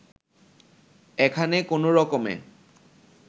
এখানে কোনো রকমে